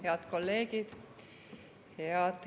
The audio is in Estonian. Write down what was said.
Head kolleegid!